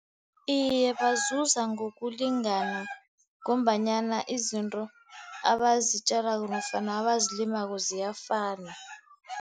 Iye, bazuza ngokulingana, ngombanyana izinto abazitjalako nofana abazilimako ziyafana.